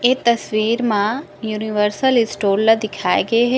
ये तस्वीर मा यूनिवर्सल स्टोर ला दिखए गए हे ।--